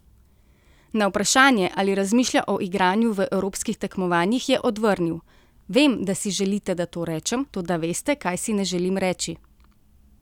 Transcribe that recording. Na vprašanje, ali razmišlja o igranju v evropskih tekmovanjih, je odvrnil: 'Vem, da si želite, da to rečem, toda veste, kaj si ne želim reči.